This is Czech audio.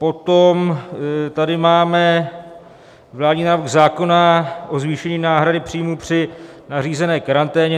Potom tady máme vládní návrh zákona o zvýšení náhrady příjmů při nařízené karanténě.